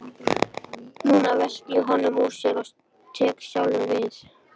Núna velti ég honum úr sessi og tek sjálfur við.